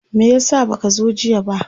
me yasa baka zo jiya ba?